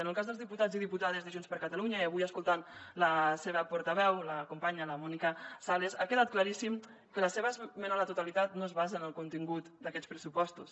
en el cas dels diputats i diputades de junts per catalunya i avui escoltant la seva portaveu la companya la mònica sales ha quedat claríssim que la seva esmena a la totalitat no es basa en el contingut d’aquests pressupostos